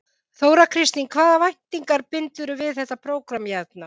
Þóra Kristín: En hvaða væntingar bindurðu við þetta prógramm hérna?